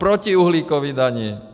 Proti uhlíkové dani.